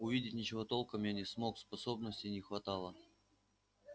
увидеть ничего толком я не смог способностей не хватало